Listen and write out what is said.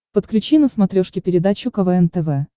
подключи на смотрешке передачу квн тв